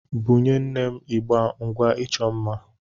Bunye nne m igbé ngwá ịchọ mma.